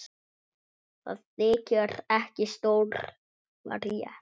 Það þykir ekki stór frétt.